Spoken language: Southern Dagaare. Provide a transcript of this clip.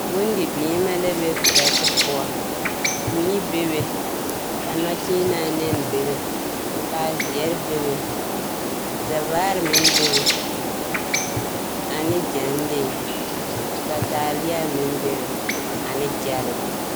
Bondibeemɛ la be perɛte poɔ. Mii bebe, ka nɔkyeenaa nɛne bebe, kaa zeɛre bebe. Zɛvaare meŋ bebe, ane gyɛnlee, ka taaleɛ meŋ bebe, ane gyɛlee.